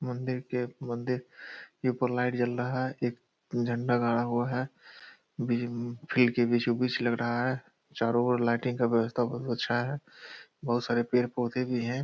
मंदिर के मंदिर के उपर लाइट जल रहा है | एक झंडा गाडा हुआ है अम-फिल्ड के बीचो बीच लग रहा है चारो और लाइटिंग का व्यवस्था बहुत अच्छा है | बहुत सारे पेड़-पौधे भी हैं |